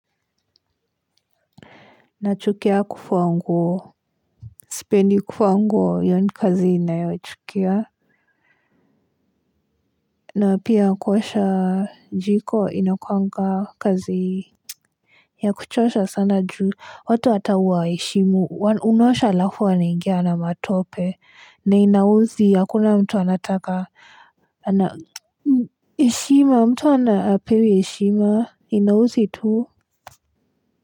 Nachukia kufua sipendi kufua nguo hio ni kazi ninayochukia. Na pia kuwasha jiko inakuanga kazi ya kuchosha sana juu watu hata hawaheshimu unaosha alafu wanaingia na matope na inaudhi hakuna mtu anataka. Na heshima mtu hapewi heshima inaudhi tu. Kwa hivyo.